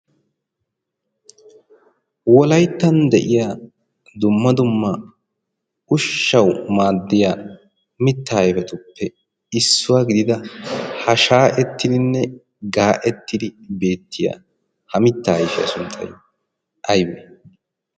wolayttan de'iya dumma dumma ushshau maaddiya mitta aifatuppe issuwaa gidida ha shaa'ettidinne gaa'ettidi beettiya ha mitta aifiyaa sunxxaiy aybee?